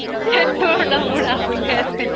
সেইতোৰ নামও ৰাহুলে আছিল